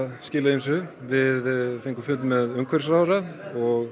skilað ýmsu við fengum fund með umhverfisráðherra og